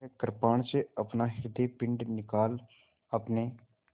वह कृपाण से अपना हृदयपिंड निकाल अपने